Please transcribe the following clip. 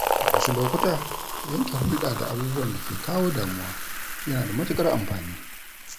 A wasu lokuta, yanke hulɗa da abubuwan da ke kawo damuwa yana da matukar amfani.